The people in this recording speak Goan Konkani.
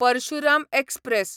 परशुराम एक्सप्रॅस